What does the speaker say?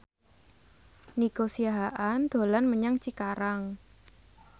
Nico Siahaan dolan menyang Cikarang